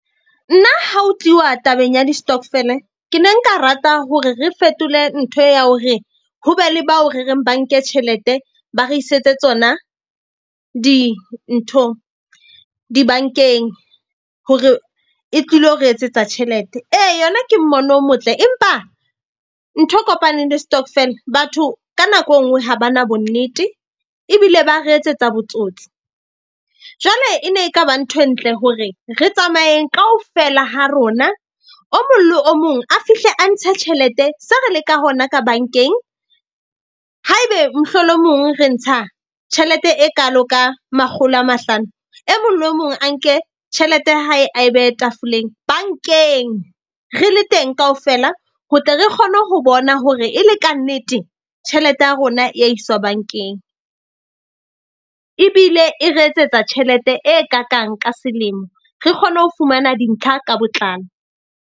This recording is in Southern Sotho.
Nna ha ho tluwa tabeng ya di-stokvel-e ke ne nka rata hore re fetole nthwe ya hore ho be le bao re reng ba nke tjhelete. Ba re isetse tsona dinthong di-bank-eng hore e tlilo re etsetsa tjhelete. Ee, yona ke mmono o motle empa nthwe e kopaneng le stokvel. Batho ka nako e nngwe ha ba na bonnete ebile ba re etsetsa botsotsi. Jwale e ne e ka ba ntho e ntle hore re tsamayeng kaofela ha rona. O mong le o mong a fihle a ntshe tjhelete, se re le ka hona ka bank-eng. Haebe mohlolomong re ntsha tjhelete e kaalo ka makgolo a mahlano. E mong le mong a nke tjhelete ya hae a e behe tafoleng bank-eng. Re le teng kaofela ho tle re kgone ho bona hore e le kannete tjhelete ya rona ya iswa bank-eng. Ebile e re etsetsa tjhelete e kakang ka selemo. Re kgone ho fumana dintlha ka botlalo.